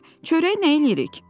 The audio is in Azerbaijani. Eh, çörəyi nə eləyirik?